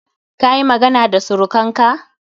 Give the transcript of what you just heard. Kayi magana da surukanka?